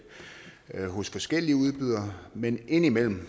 hos forskellige udbydere men indimellem